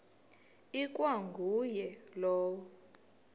ikwa nguye lowo